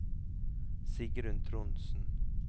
Sigrun Trondsen